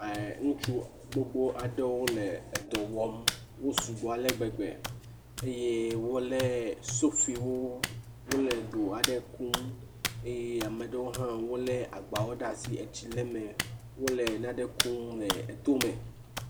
Ŋutsu gbogbo aɖewo le dɔ wɔm. Wosu gbɔ ale gbegbe eye wolé sofiwo wole do aɖe kum eye ame aɖewo hã wolé agbawo ɖe asi tsi le eme wole nane kum le etome.